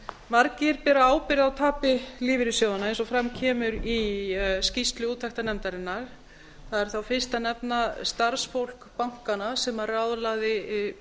margir bera ábyrgð á tapi lífeyrissjóðanna eins og fram kemur í skýrslu úttektarnefndarinnar það er þá fyrst að nefna starfsfólk bankanna sem ráðlagði